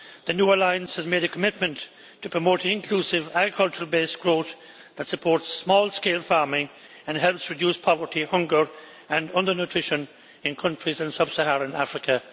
The New Alliance has made a commitment to promote inclusive agricultural based growth that supports small scale farming and helps reduce poverty, hunger and under nutrition in countries in sub Saharan Africa.